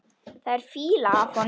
Það er fýla af honum.